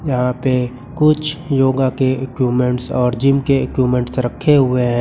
यहाँ पे कुछ योगा के इक्विपमेंट्स और जिम के इक्विपमेंट रखे हुए हैं।